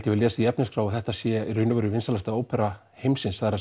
hafi lesið í efnisskrá að þetta sé í raun og veru vinsælasta ópera heimsins það